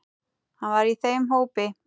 Hann var í þeim hópi.